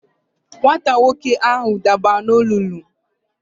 Nwata nwoke ahụ dabara n'olulu.